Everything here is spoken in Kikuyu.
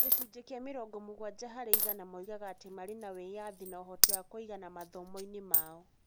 Gĩcunjĩ kĩa mĩrongo-mũgwanja harĩ igana moigaga atĩ marĩ na wĩyathi na ũhoti wa kũigana mathomo-inĩ mao.